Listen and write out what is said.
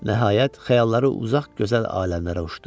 Nəhayət, xəyalları uzaq gözəl aləmlərə uçdu.